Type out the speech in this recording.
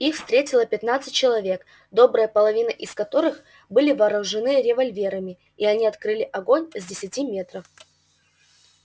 их встретило пятнадцать человек добрая половина из которых были вооружены револьверами и они открыли огонь с десяти метров